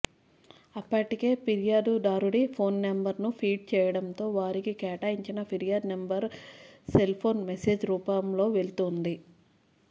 అప్పటికే ఫిర్యాదుదారుడి ఫోన్ నెంబర్ను ఫీడ్ చేయడంతో వారికి కేటాయించిన ఫిర్యాదు నెంబర్ సెల్ఫోన్ మేసేజ్ రూపంలో వెళ్తోంది